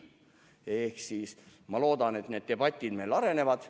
Niisiis, ma loodan, et need debatid meil arenevad.